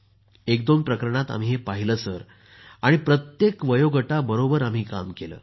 एक दोन प्रकरणात आम्ही हे पाहिलं सर आणि प्रत्येक वयोगटाबरोबर आम्ही काम केलं सर